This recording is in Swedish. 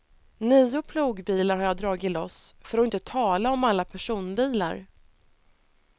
Nio plogbilar har jag dragit loss, för att inte tala om alla personbilar.